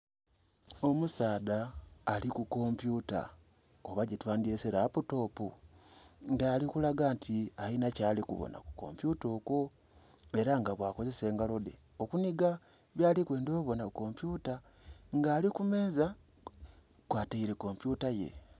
Omusaadha ali ku kompyuta oba gyetwandhyese laputopu! Nga ali kulaga nti alinha kyali kubonha ku kompyuta okwo. Ela nga bwakozesa engalo dhe okunhiga byali kwendha obonha ku kompyuta nga ali kumeeza kwataile kompyuta ye.